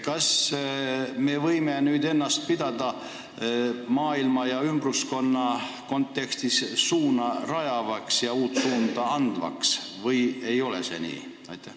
Kas me võime nüüd ennast maailma ja ümbruskonna kontekstis pidada suunda rajavaks ja uut suunda andvaks või ei ole see nii?